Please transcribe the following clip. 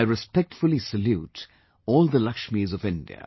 I respectfully salute all the Lakshmis of India